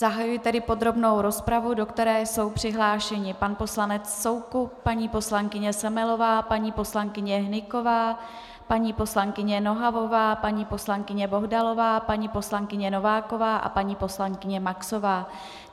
Zahajuji tedy podrobnou rozpravu, do které jsou přihlášeni pan poslanec Soukup, paní poslankyně Semelová, paní poslankyně Hnyková, paní poslankyně Nohavová, paní poslankyně Bohdalová, paní poslankyně Nováková a paní poslankyně Maxová.